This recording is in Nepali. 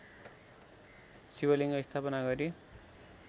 शिवलिङ्ग स्थापना गरी